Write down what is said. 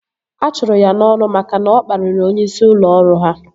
A chụrụ ya n'ọrụ maka na ọ kpariri onyeisi ụlọ ọrụ ya